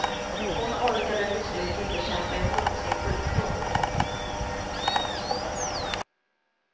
Hon orkade till slut inte kämpa emot sin sjukdom.